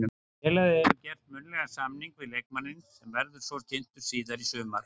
Félagið hefur gert munnlegan samning við leikmanninn sem verður svo kynntur síðar í sumar.